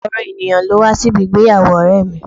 Ọ̀gọrọ ènìyàn ló wá sí ibi ìgbéyàwó ọ̀rẹ́ mi